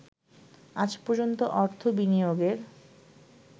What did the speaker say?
আজ পর্যন্ত অর্থ বিনিয়োগের